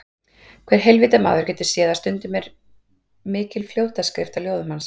Hver heilvita maður getur séð að stundum er mikil fljótaskrift á ljóðum hans.